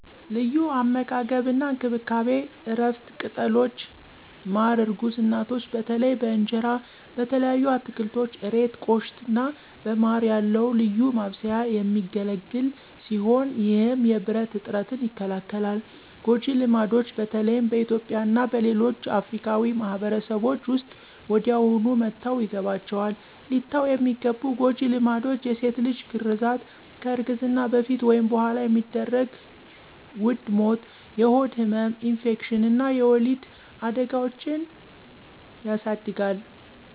ለዩ አመጋገብ አና እንከብካቤ(እረፍት፣ ቅጠሎች፣ ማረ እርጉዝ እናቶች በተለይ በእንጀራ፣ በተለያዩ አትከልቶች (እሬት፣ ቆሽታ )አና በማረ ያለዉ ልዩ ማብሰያ የሚገለግል ሲሆነ ይህም የብረት እጥረትን ይከላከላል። ጎጀ ልማድች በተለይም በእትዩጵያ እና በሌሎች አፍርካዊ ማህበርሰቦች ዉስጥ ወዲያውኑ መተውይገባችዋል። ሊተዉ የሚገቡ ጎጂ ልማዶች የሴት ልጅ ግራዛት (FGM) ከእርግዝና በፈት ወይም በኋላ የሚደረግ ዉድ ሞት፣ የሆድ ህመም፣ ኢንፌክሽን አና የወሊድ አዳጋዎችን የስድጋል